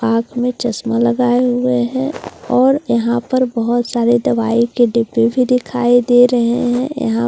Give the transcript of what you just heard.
आंख में चश्मा लगाए हुए है और यहां पर बहुत सारे दवाई के डिब्बे भी दिखाई दे रहे हैं यहां पर लाइट --